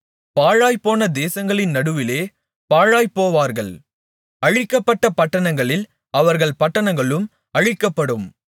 பாழாய்ப்போன தேசங்களின் நடுவிலே பாழாய்ப்போவார்கள் அழிக்கப்பட்ட பட்டணங்களில் அவர்கள் பட்டணங்களும் அழிக்கப்படும்